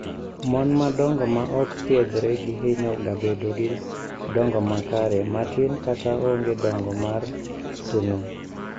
Mon madongo ma ok thiedhre gi hinyo ga bedo gi dongo makare, matin kata onge dongo mar thuno.